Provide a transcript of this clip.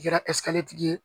Kɛra tigi ye